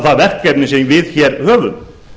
það verkefni sem við höfum